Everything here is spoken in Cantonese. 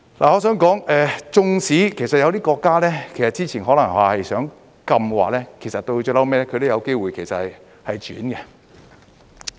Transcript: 我想說，即使有一些國家之前可能是想禁的，其實到最後亦有機會轉變。